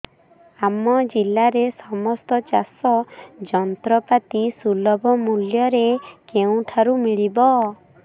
ଆମ ଜିଲ୍ଲାରେ ସମସ୍ତ ଚାଷ ଯନ୍ତ୍ରପାତି ସୁଲଭ ମୁଲ୍ଯରେ କେଉଁଠାରୁ ମିଳିବ